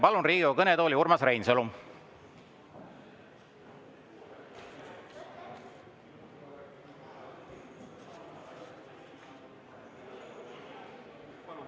Palun Riigikogu kõnetooli Urmas Reinsalu.